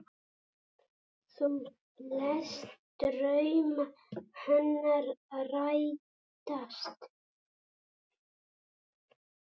Þú lést drauma hennar rætast.